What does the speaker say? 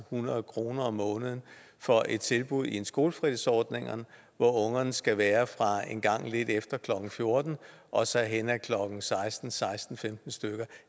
hundrede kroner om måneden for et tilbud i en skolefritidsordning hvor ungerne skal være fra en gang lidt efter klokken fjorten og så hen til klokken seksten til seksten femten stykker